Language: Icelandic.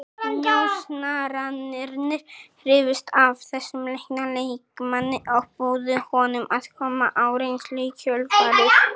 Njósnararnir hrifust af þessum leikna leikmanni og buðu honum að koma á reynslu í kjölfarið.